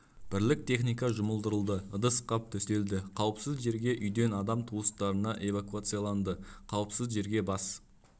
бірлік техника жұмылдырылды ыдыс қап төселді қауіпсіз жерге үйден адам туыстарына эвакуацияланды қауіпсіз жерге бас